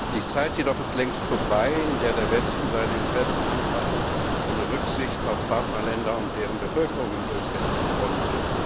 Die Zeit jedoch ist längst vorbei, in der der Westen seine Interessen einfach ohne Rücksicht auf Partnerländer und deren Bevölkerungen durchsetzen konnte.